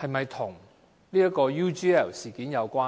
是否跟 UGL 事件有關？